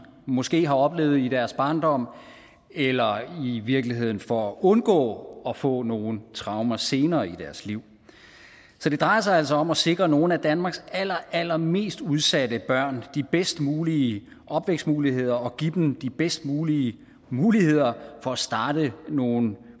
måske har oplevet i deres barndom eller i virkeligheden for at undgå at få nogle traumer senere i deres liv så det drejer sig altså om at sikre nogle af danmarks allerallermest udsatte børn de bedst mulige opvækstmuligheder og give dem de bedst mulige muligheder for at starte nogle